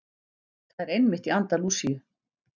Það er einmitt í anda Lúsíu.